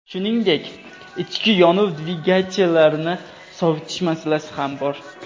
Shuningdek, ichki yonuv dvigatellarini sovutish masalasi ham bor.